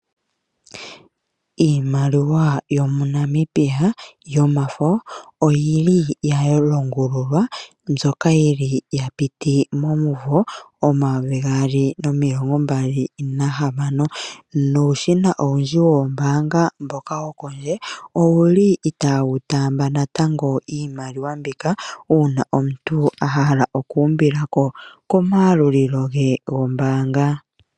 Iimaliwa yomuNamibia yomafo oyi li ya longululwa mbyoka yi li ya piti momumvo 2026,nuushina owundji woombaanga mboka wopondje owu li itaawu taamba natango iimaliwa mbika uuna omuntu a hala oku umbilako komayalulilo ge gombaanga.